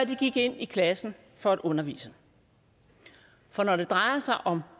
de gik ind i klassen for at undervise for når det drejer sig om